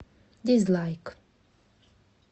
дизлайк